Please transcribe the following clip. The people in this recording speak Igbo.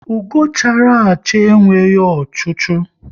Ugo chara acha enweghị ochu chu